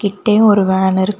கிட்டயே ஒரு வேன் இருக்கு.